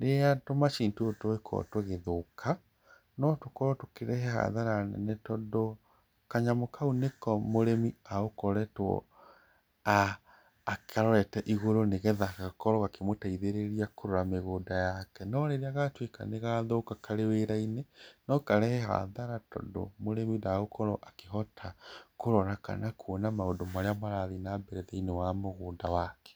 Rĩrĩa tũmacini tũtũ tũngĩkorwo tũgĩthũka, no tũrehe hathara nene tondũ kanyamũ kau nĩko mũrĩmi agũkoretwo akarorete igũrũ nĩgetha gakorwo gakĩmũteithĩrĩria kũrora mĩgũnda yake. No rĩrĩa gatuĩka nĩgathũka karĩ wĩra-inĩ, no karehe hathara tondũ mũrĩmi ndagũkorwo akĩhota kũrora kana kuona maũndũ marĩa marathi na mbere thĩiniĩ wa mũgũnda wake.